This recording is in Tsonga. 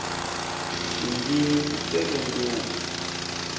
tindzimi ti tele ngopfu